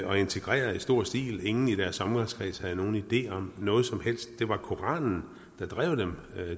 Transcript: og integreret i stor stil ingen i deres omgangskreds havde nogen idé om noget som helst det var koranen der drev dem